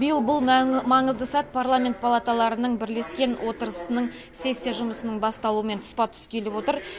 биыл бұл маңызды сәт парламент палаталарының бірлескен отырысының сессия жұмысының басталуымен тұспа тұс келіп отыр